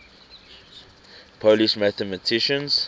polish mathematicians